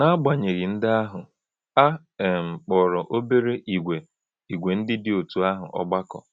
N’agbànyè̄ghí̄ ndè̄ àhụ̄, a um kpọ̄rò̄ òbèrè̄ ìgwè̄ ìgwè̄ ndị́ dị̄ ọ̀tụ́ àhụ̄ “ọ̀gbàkọ̄.”